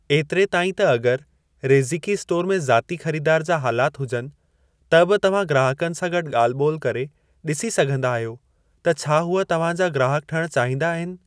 एतिरे ताईं त अगर रेज़िकी स्टोर में ज़ाती ख़रीदार जा हालात हुजनि, त बि तव्हां ग्राहकनि सां गॾु ॻाल्हि-ॿोल करे डि॒सी सघिंदा आहियो त छा हूअ तव्हांजा ग्राहक ठहिणु चाहींदा आहिनि।